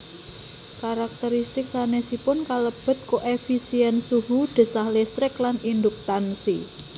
Karakteristik sanésipun kalebet koefisién suhu desah listrik lan induktansi